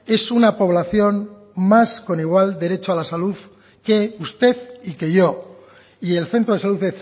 es una población más con igual derecho a la salud que usted y que yo y el centro de salud